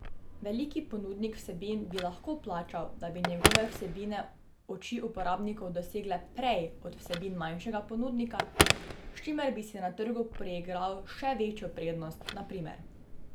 Veliki ponudnik vsebin bi lahko plačal, da bi njegove vsebine oči uporabnikov dosegle prej od vsebin manjšega ponudnika, s čimer bi si na trgu priigral še večjo prednost, na primer.